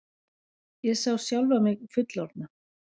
Ég sá sjálfa mig fullorðna.